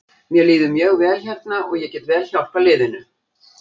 Mér líður mjög vel hérna og ég get vel hjálpað liðinu.